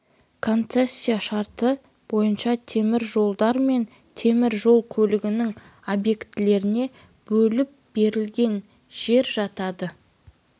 концессия шарттары бойынша темір жолдар мен темір жол көлігінің объектілеріне бөліп берілген жер жатады